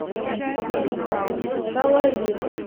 салаир